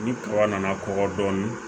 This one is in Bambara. Ni kuran nana kɔgɔ dɔɔnin